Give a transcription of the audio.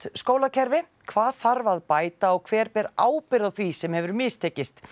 skólakerfi hvað þarf að bæta og hver ber ábyrgð á því sem hefur mistekist